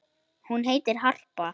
Hún heitir Harpa.